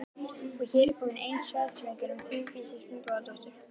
Og er hér komin ein þversögnin um Vigdísi Finnbogadóttur.